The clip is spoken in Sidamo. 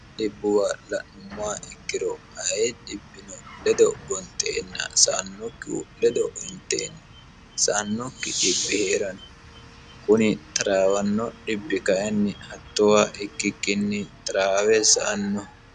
Dhibbuwa la'nummoa ikkiro aye dhibbino ledo gonxeenna saannokkihu ledo inteenna saannokki dhibbi hee'ranno kuni traawanno dhibbi kainni hattoowa ikkikkinni taraawe sa'anno